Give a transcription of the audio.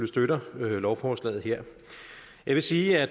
støtter lovforslaget her jeg vil sige at